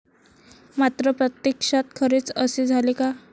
मात्र, प्रत्यक्षात खरेच असे झाले का?